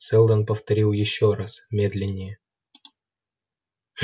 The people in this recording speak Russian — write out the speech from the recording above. сэлдон повторил ещё раз медленнее